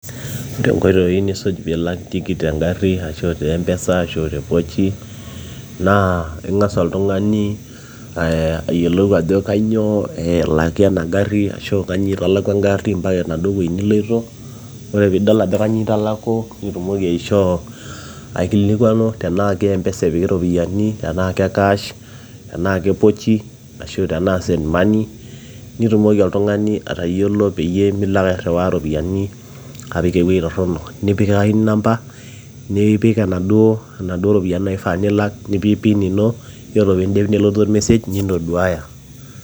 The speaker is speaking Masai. ore inkoitoi nisuj piilak tikit tengarri ashu te mpesa ashu te pochi naa ing'as oltung'ani ayiolou ajo kanyioo elaki ena garri ashu kanyio italaku engarri mpaka enaduo wueji niloito ore piidol ajo kanyioo italaku nitumoki aishoo aikilikuanu tenaa ke mpesa epiki iropiyiani tenaa ke cash tenaa ke pochi ashu tenaa send money nitumoki oltung'ani atayiolo peyie milo ake airriwaa iropiyiani apik ewueji torronok nikipikakini inamba nipik enaduo naduo ropiyiani naifaa nilak nipik pin ino yiolo piindip nelotu or message nintoduaya.